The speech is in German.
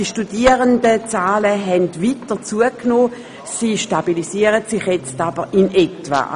Die Studierendenzahlen haben weiter zugenommen, sie stabilisieren sich jetzt aber in etwa.